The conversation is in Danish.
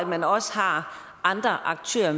man også har andre aktører